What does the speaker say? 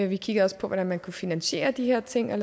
vi kiggede også på hvordan man kunne finansiere de her ting og